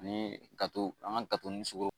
Ani an ka gatoni sukoro